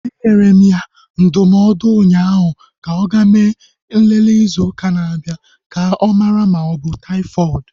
Enyere m ya ndụmọdụ unyaahu ka ọ ga mee nlele izu ụka na-abịa ka ọ mara ma ọ bụ taifọdụ